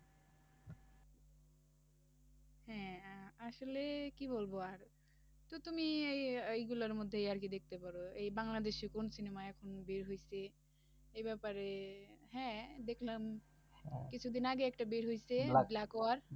হ্যাঁ, আ~ আসলে কি বলবো আর তো তুমি এই এইগুলোর মধ্যেই আর কি দেখতে পারো, এই বাংলাদেশি কোন cinema এখন বের হয়েছে এই ব্যাপারে হ্যাঁ, দেখলাম কিছুদিন আগেই একটা বের হয়েছে black war